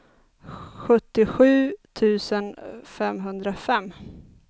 sjuttiosju tusen femhundrafem